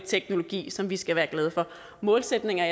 teknologi som vi skal være glade for målsætninger